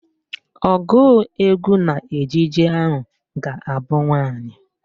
Ọgụụ egwu n'ejije ahụ ga-abụ nwaanyị